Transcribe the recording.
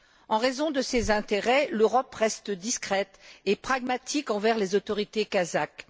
En raison de ses intérêts, l'Europe reste discrète et pragmatique envers les autorités kazakhes.